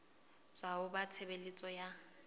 tswa ho ba tshebeletso ya